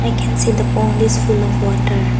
we can see the pond is full of water.